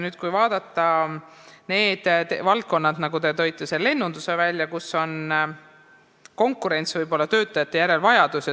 Kui nüüd vaadata sellist valdkonda nagu lennundus, mille teie välja tõite, siis seal on konkurents ja võib-olla töötajate järele eriline vajadus.